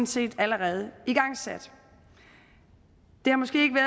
set allerede igangsat det har måske ikke